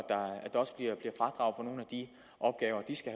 de opgaver de skal